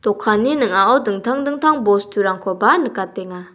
dokanni ning·ao dingtang dingtang bosturangkoba nikatenga.